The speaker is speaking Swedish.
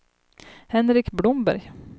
Henrik Blomberg